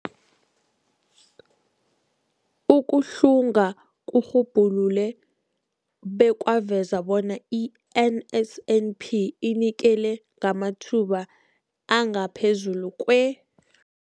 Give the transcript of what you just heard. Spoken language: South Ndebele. Ukuhlunga kurhubhulule bekwaveza bona i-NSNP inikela ngamathuba angaphezulu kwe-